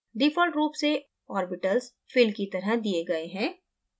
default रूप से ऑर्बिटल्सfill की तरह दिए गए हैं